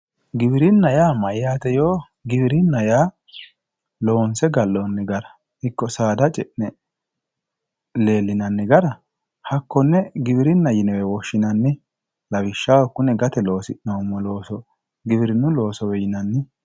Giwirinna yaa mayyaate yoo Giwirinna yaa loonse galloonni gara ikko saada ce'ne leellinoonni gara Giwirinna yniewe woshshinanni lawishshaho kune gate loosi'noommo looso giwirinnu loosowe yinanni